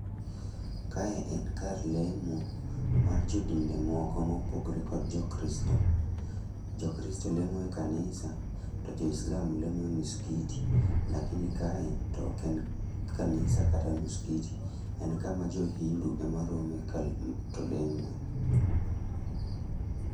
Kae en kar lemo mar jodinde moko mopogore kod jokristo. Jokristo lemo e kanisa to jo islam lemo e miskiti, lakini kae to ok en kanisa kata muskiti. En kama jo hindu ema rome to lemoe.